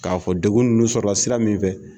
K'a fɔ degun nunnu sɔrɔ la sira min fɛ.